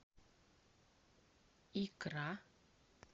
икра